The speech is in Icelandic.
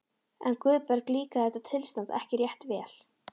En Guðbergi líkaði þetta tilstand ekki rétt vel.